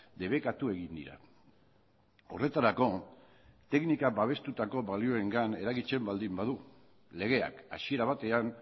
debekatu egin dira horretarako teknika babestutako balioengan eragiten baldin badu legeak hasiera batean